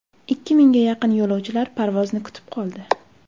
Ikki mingga yaqin yo‘lovchilar parvozni kutib qoldi.